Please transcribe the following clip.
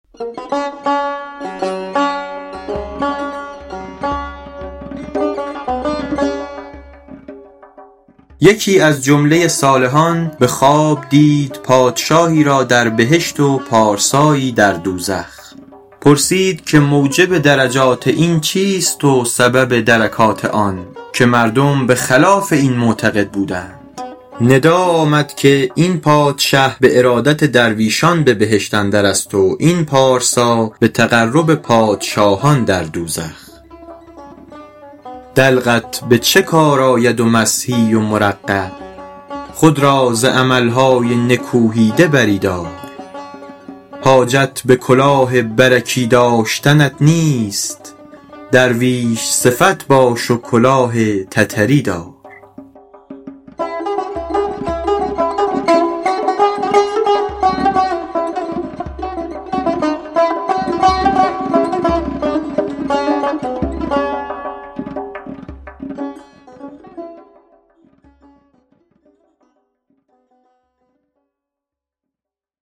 یکی از جمله صالحان به خواب دید پادشاهی را در بهشت و پارسایی در دوزخ پرسید که موجب درجات این چیست و سبب درکات آن که مردم به خلاف این معتقد بودند ندا آمد که این پادشه به ارادت درویشان به بهشت اندر است و این پارسا به تقرب پادشاهان در دوزخ دلقت به چه کار آید و مسحی و مرقع خود را ز عمل های نکوهیده بری دار حاجت به کلاه برکی داشتنت نیست درویش صفت باش و کلاه تتری دار